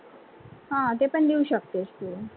हा ते पण लिहू शकतेस तू